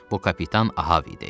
Bu kapitan Ahab idi.